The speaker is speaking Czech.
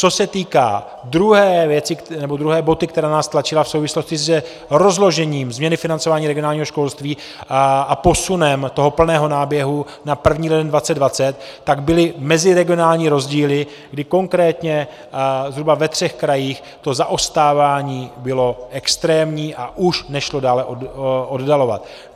Co se týká druhé boty, která nás tlačila v souvislosti s rozložením změny financování regionálního školství a posunem toho plného náběhu na 1. leden 2020, tak byly meziregionální rozdíly, kdy konkrétně zhruba ve třech krajích to zaostávání bylo extrémní a už nešlo dále oddalovat.